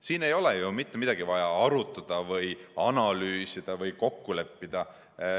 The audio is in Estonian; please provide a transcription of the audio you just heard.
Siin ei ole ju mitte midagi vaja arutada või analüüsida või kokku leppida.